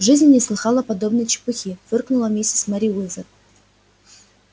в жизни не слыхала подобной чепухи фыркнула миссис мерриуэзер